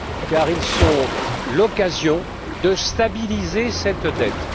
car ils sont l'occasion de stabiliser cette dette.